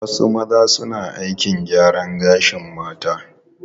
Wasu maza suna aikin gyaran gashin mata.